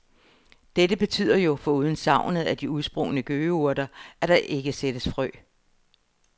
Dette betyder jo, foruden savnet af de udsprungne gøgeurter, at der ikke sættes frø.